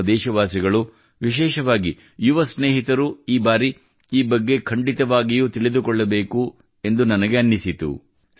ನಮ್ಮ ದೇಶವಾಸಿಗಳು ವಿಶೇಷವಾಗಿ ಯುವ ಸ್ನೇಹಿತರು ಈ ಬಾರಿ ಈ ಬಗ್ಗೆ ಖಂಡಿತವಾಗಿಯೂ ತಿಳಿದುಕೊಳ್ಳಬೇಕೆಂದು ನನಗೆ ಅನಿಸಿತು